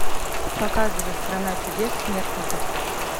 показывай страна чудес смертников